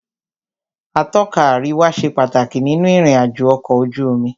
Atọ́ka àríwá ṣe pàtàkì nínú ìrìn àjò ọ̀kọ̀ ojú omi.